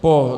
Po